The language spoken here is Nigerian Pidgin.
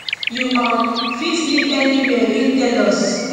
you um fit live anywia im tell us